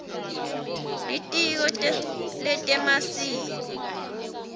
litiko letemasiko